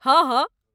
हँ हँ।